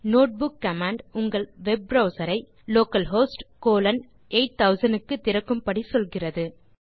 notebook command உங்கள் web browser ஐ localhost colon 8000 க்கு திறக்கும் படி சொல்லுகிறது